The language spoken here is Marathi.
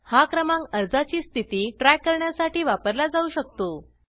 हा क्रमांक अर्जाची स्थिती ट्रॅक करण्यासाठी वापरला जाऊ शकतो